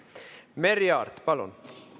Merry Aart, palun!